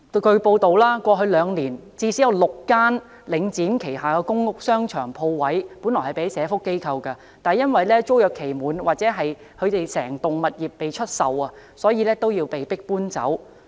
據報道，過去兩年最少有6間租用領展旗下的公屋商場鋪位的社福機構，因租約期滿或整幢物業出售而被迫搬走。